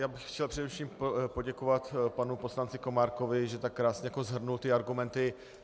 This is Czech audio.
Já bych chtěl především poděkovat panu poslanci Komárkovi, že tak krásně shrnul ty argumenty.